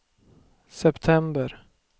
september